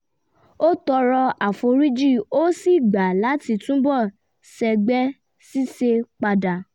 ó tọrọ àforíjì a sì gbà láti tún bọ̀ sẹ́gbẹ́ ṣíṣe padà